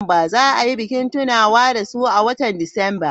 Za a yi bikin tunawa da su a watan Disamba.